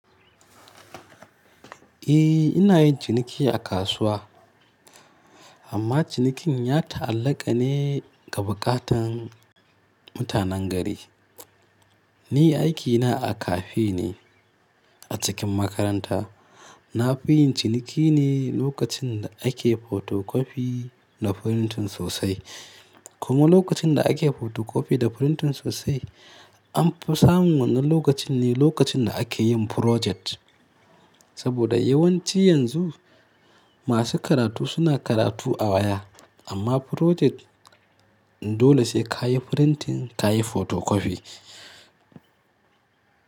Eh ina yin ciniki a kasuwa amma cinikin ya ta'allaka ne ga buƙatan mutanen gari. Ni aikina a cafe ne a cikin makaranta. Na fi yin ciniki ne lokacin da ake photocopy da printing sosai. Kuma lokacin da ake photocopy da printing sosai an fi samun wannan lokacin ne lokacin da ake yin project. Saboda yawanci yanzu masu karatu suna karatu a waya amma project dole sai ka yi printing ka yi photocopy.